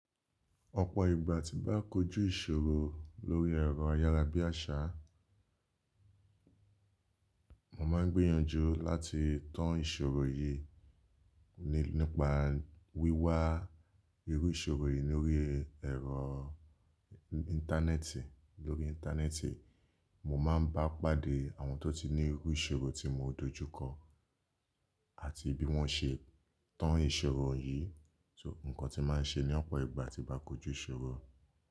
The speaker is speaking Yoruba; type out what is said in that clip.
Ọ̀pọ̀ ìgbà tí n á kojú ìṣòro lórí ẹ̀rọ ayárabíàṣá, mo máa ń gbìyànjú láti tan ìṣòro yìí nípa wíwá irú ìṣòro yìí lórí ẹ̀rọ íńtánẹ́ẹ̀tì. Lórí íńtánẹ́ẹ̀tì, mo máa ń bá pàdé àwọn tó ti ní irú ìṣòro tí mo dojú kọ àti bí wọ́n ṣe tan ìṣòro yìí. Ǹkan tí màá ń ṣe ní ọ̀pọ̀ ìgbà tí bá kojú ìṣòro.